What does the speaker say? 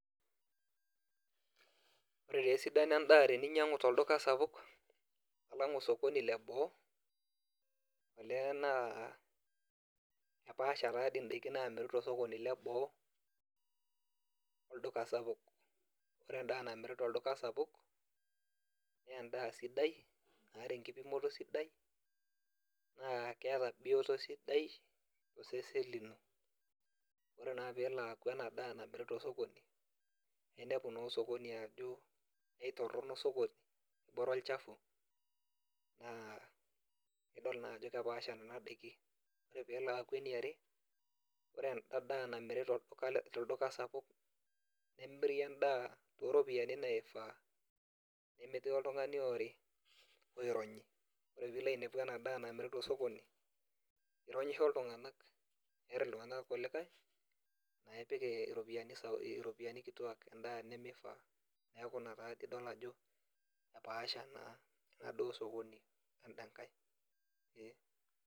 Ore taa esidano endaa teninyang'u tolduka sapuk, alang osokoni leboo, olee naa epaasha tadi daiki namiri tosokoni leboo, olduka sapuk. Ore endaa namiri tolduka sapuk, nendaa sidai, naata enkipimoto sidai, naa keeta bioto sidai, tosesen lino. Ore naa peelo aku enadaa namiri tosokoni, ninepu naa osokoni ajo aitorrono osokoni ebore olchafu. Naa idol naa ajo kepaasha nena daiki. Ore pelo aku eniare, ore enda daa namiri tolduka sapuk, nemiri endaa oropiyiani naifaa. Nemetii oltung'ani oori, oironyi. Ore pilo ainepu enadaa namiri tosokoni, ironyisho iltung'anak, eer iltung'anak irkulikae, epik iropiyiani kituak endaa nimifaa. Neeku ina taa pidol ajo epaasha naa inadaa osokoni enda nkae, ee.